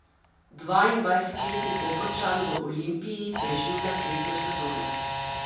Dvaindvajsetletni Koprčan v Olimpiji preživlja tretjo sezono.